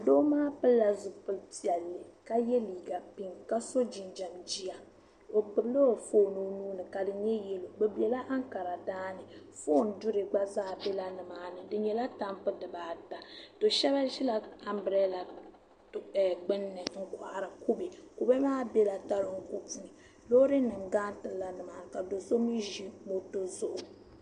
Doo maa pilila zipili piɛlli ka yɛ liiga pink ka si jinjɛm jiya o gbubila o foon o nuuni ka di nyɛ yɛlo bi bɛla ankara daani foon duri gba zaa biɛla nimaani di nyɛla tambu dibaata do shab ʒila anbirɛla gbunni n kohari kubɛ kubɛ maa biɛla toroko puuni loori nim garitila numaani ka do so mii ʒi moto zuɣu